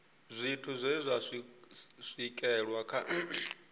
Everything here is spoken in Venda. zwithu zwe zwa swikelelwa kha